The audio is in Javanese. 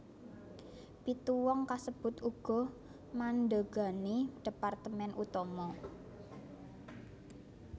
Pitu wong kasebut uga mandhegani departemen utama